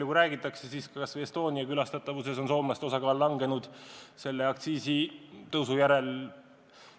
Räägitakse, et näiteks Estonia publiku hulgas on soomlaste osakaal selle aktsiisitõusu järel vähenenud.